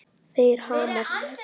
Þeir hamast.